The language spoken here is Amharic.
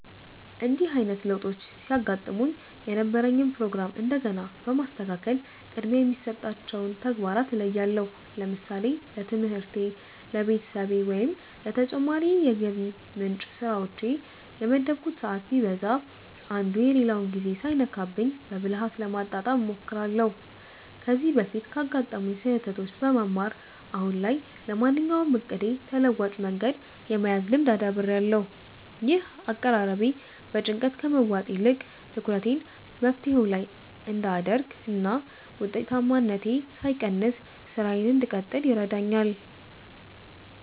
እንዲህ አይነት ለውጦች ሲገጥሙኝ የነበረኝን ፕሮግራም እንደገና በማስተካከል ቅድሚያ የሚሰጣቸውን ተግባራት እለያለሁ። ለምሳሌ ለትምህርቴ፣ ለቤተሰቤ ወይም ለተጨማሪ የገቢ ምንጭ ስራዎቼ የመደብኩት ሰዓት ቢዛባ፣ አንዱ የሌላውን ጊዜ ሳይነካብኝ በብልሃት ለማጣጣም እሞክራለሁ። ከዚህ በፊት ካጋጠሙኝ ስህተቶች በመማር፣ አሁን ላይ ለማንኛውም እቅዴ ተለዋጭ መንገድ የመያዝ ልምድ አዳብሬያለሁ። ይህ አቀራረቤ በጭንቀት ከመዋጥ ይልቅ ትኩረቴን መፍትሄው ላይ እንድ አደርግ እና ውጤታማነቴ ሳይቀንስ ስራዬን እንድቀጥል ይረዳኛል።